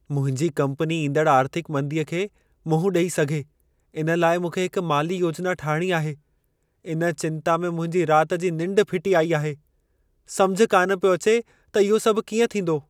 मुंहिंजी कम्पनी ईंदड़ आर्थिक मंदीअ खे मुंहं ॾेई सघे, इन लाइ मूंखे हिक माली योजना ठाहिणी आहे। इन चिंता में मुंहिंजी राति जी निंढ फिटी आई आहे। समुझ कान पियो अचे त इहो सभु कीअं थींदो !